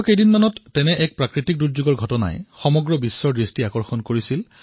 কেইদিনমানপূৰ্বে এনেকুৱা ধৰণৰ এটা প্ৰাকৃতিক বিপদে সমগ্ৰ বিশ্বৰ ধ্যান আকৰ্ষিত কৰিছিল